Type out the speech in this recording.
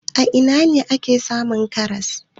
A ina ne ake samun karas?